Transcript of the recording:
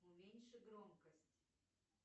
уменьши громкость